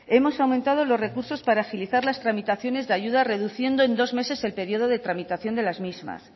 hemos aumentado los recursos para agilizar las tramitaciones de ayuda reduciendo en dos meses el periodo de tramitación de las mismas